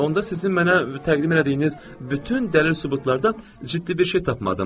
Onda sizin mənə təqdim elədiyiniz bütün dəlil-sübutlarda ciddi bir şey tapmadım.